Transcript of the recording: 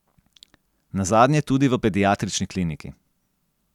Nazadnje tudi v Pediatrični kliniki.